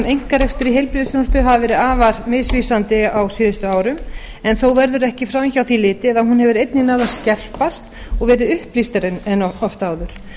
heilbrigðisþjónustu hafa verið afar misvísandi á síðustu árum en þó verður ekki framhjá því litið að hún hefur einnig náð að skerpast og verið upplýstari en oft áður